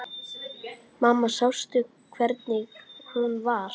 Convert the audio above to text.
Mamma sástu hvernig hún var?